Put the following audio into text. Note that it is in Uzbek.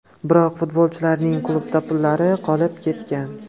Biroq futbolchilarning klubda pullari qolib ketgan.